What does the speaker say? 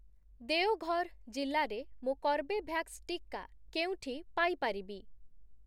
ଦେଓଘର୍ ଜିଲ୍ଲାରେ ମୁଁ କର୍ବେଭ୍ୟାକ୍ସ ଟିକା କେଉଁଠି ପାଇ ପାରିବି?